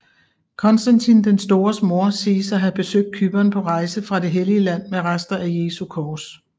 Konstantin den Stores moder siges at havde besøgt Cypern på rejse fra Det hellige land med rester af Jesu kors